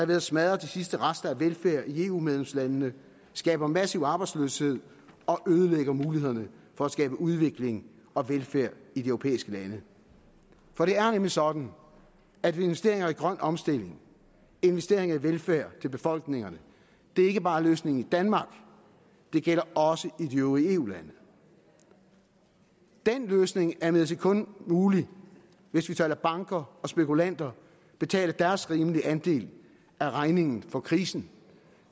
ved at smadre de sidste rester af velfærd i eu medlemslandene skaber massiv arbejdsløshed og ødelægger mulighederne for at skabe udvikling og velfærd i de europæiske lande for det er nemlig sådan at investeringer i grøn omstilling investeringer i velfærd til befolkningerne ikke bare er løsningen i danmark det gælder også i de øvrige eu lande den løsning er imidlertid kun mulig hvis vi lader banker og spekulanter betale deres rimelige andel af regningen for krisen